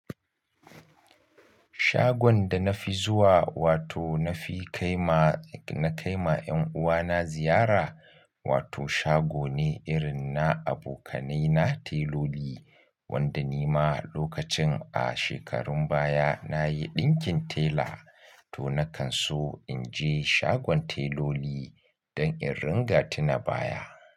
Shagon da na fi zuwa wato na fi kaima, na kaima 'yan uwana ziyara wato shago ne irin na abokanai na teloli wanda ni ma lokacin a shekarun baya na yi ɗinkin tela to na kan so in je shagon teloli don in ringa tuna baya.